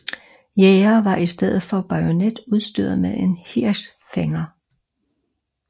Jægere var i stedet for bajonet udstyret med en hirschfænger